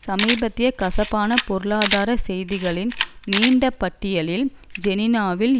சமீபத்திய கசப்பான பொருளாதார செய்திகளின் நீண்ட பட்டியலில் ஜெனிவாவில்